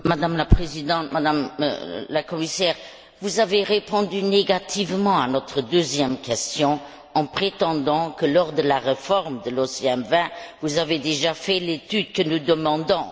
Madame la Présidente, Madame la Commissaire, vous avez répondu négativement à notre deuxième question, en prétendant que, lors de la réforme de l'OMC vin, vous aviez déjà réalisé l'étude que nous demandons.